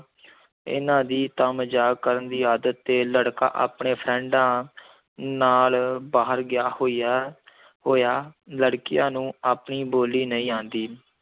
ਇਹਨਾਂ ਦੀ ਤਾਂ ਮਜ਼ਾਕ ਕਰਨ ਦੀ ਆਦਤ ਤੇ ਲੜਕਾ ਆਪਣੇ ਫਰੈਂਡਾਂ ਨਾਲ ਬਾਹਰ ਗਿਆ ਹੋਇਆ ਹੋਇਆ, ਲੜਕੀਆਂ ਨੂੰ ਆਪਣੀ ਬੋਲੀ ਨਹੀਂ ਆਉਂਦੀ।